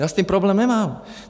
Já s tím problém nemám.